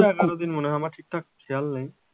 এগারো দিন মনে হয় আমার ঠিকঠাক খেয়াল নেই,